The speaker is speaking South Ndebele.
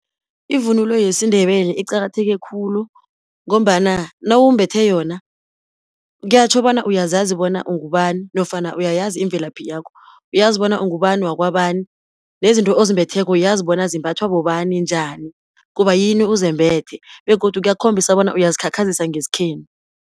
Ivunulo yesiNdebele iqakatheke khulu, ngombana nawumbethe yona kuyatjho bona uyazazi bona ungubani nofana uyayazi imvelaphi yakho. Uyazibona ungubani wakwabani, nezinto ozimbetheko uyazi bona zimbathwa bobani njani, kubayini uzembethe, begodu kuyakhombisa bona uyazikhakhazisa ngesikhenu.